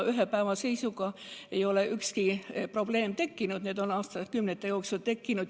Ühe päevaga ei ole ükski probleem tekkinud, need on aastakümnete jooksul tekkinud.